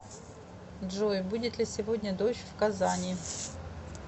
джой будет ли сегодня дождь в казани